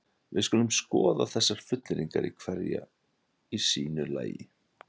Við skulum skoða þessar fullyrðingar hverja í sínu lagi.